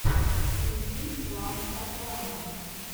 включи клан сопрано